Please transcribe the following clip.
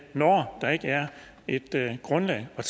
når der ikke er et grundlag at